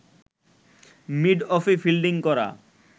মিডঅফে fielding করা